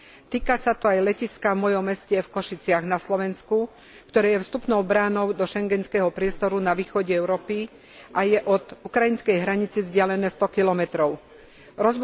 Týka sa to aj letiska v mojom meste v Košiciach na Slovensku, ktoré je vstupnou bránou do schengenského priestoru na východe Európy a je od ukrajinskej hranice vzdialené 100 km.